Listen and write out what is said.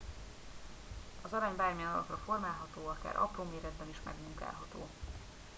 az arany bármilyen alakra formálható akár apró méretben is megmunkálható